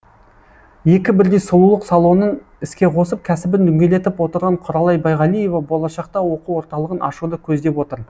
екі бірдей сұлулық салонын іске қосып кәсібін дөңгелетіп отырған құралай байғалиева болашақта оқу орталығын ашуды көздеп отыр